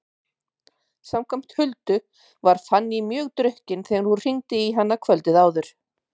Samkvæmt Huldu var Fanný mjög drukkin þegar hún hringdi í hana kvöldið áður.